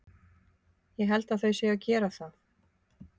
Ég held þau séu að gera það.